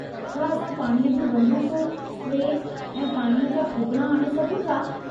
छा असां पाणीअ जी बंदूक़ू, स्प्रे ऐं पाणी जा फूकणा आणे सघूं था?